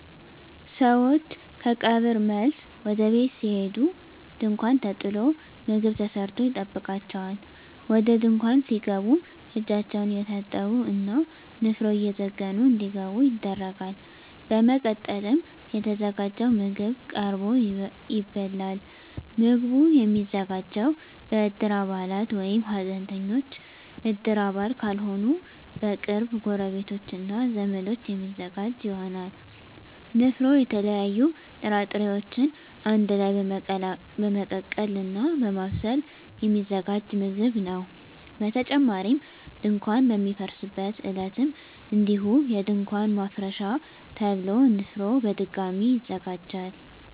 ሰወች ከቀብር መልስ ወደ ቤት ሲሄዱ ድንኳን ተጥሎ ምግብ ተሰርቶ ይጠብቃቸዋል። ወደ ድንኳን ሲገቡም እጃቸውን እየታጠቡ እና ንፍሮ እየዘገኑ እንዲገቡ ይደረጋል። በመቀጠልም የተዘጋጀው ምግብ ቀርቦ ይበላል። ምግቡ የሚዘጋጀው በእድር አባላት ወይም ሀዘንተኞች እድር አባል ካልሆኑ በቅርብ ጎረቤቶች እና ዘመዶች የሚዘጋጅ ይሆናል። ንፍሮ የተለያዩ ጥራጥሬወችን አንድ ላይ በመቀቀል እና በማብሰል የሚዘጋጅ ምግብ ነው። በተጨማሪም ድንኳን በሚፈርስበት ዕለትም እንዲሁ የድንኳን ማፍረሻ ተብሎ ንፍሮ በድጋሚ ይዘጋጃል።